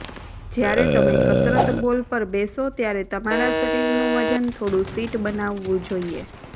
જ્યારે તમે કસરત બોલ પર બેસો ત્યારે તમારા શરીરનું વજન થોડું સીટ બનાવવું જોઈએ